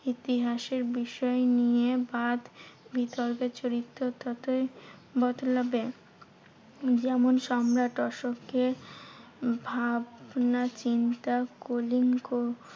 ইতিহাসের বিষয় নিয়ে বাদ বিতর্কের চরিত্র ততই বদলাবে। যেমন সম্রাট অশোকের ভাবনাচিন্তা কলিঙ্গ